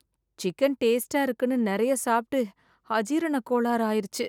Chicken டேஸ்ட்டா இருக்குன்னு நிறையா சாப்பிட்டு அஜீரண கோளாறு ஆயிருச்சு.